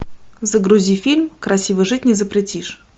загрузи фильм красиво жить не запретишь